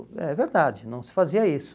É verdade, não se fazia isso.